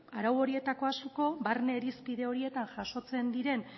arau horietako asko barne irizpide horietan jasotzen diren